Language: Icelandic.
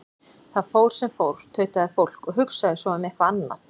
Það fór sem fór, tautaði fólk, og hugsaði svo um eitthvað annað.